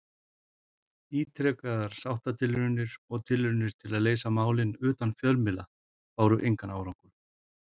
Ítrekaðar sáttatilraunir og tilraunir til að leysa málin utan fjölmiðla báru engan árangur.